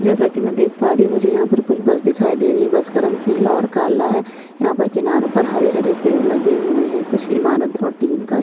जैसा की मैं देख पा रही हूँ मुझे यहाँ पर कुछ बस दिखाई दे रही है बस का रंग पीला और काला है यहाँ पर किनारों पर हरे-हरे पेड़ लगे हुए हैं। कुछ ईमारत और टिन का --